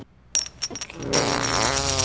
Sæll venur!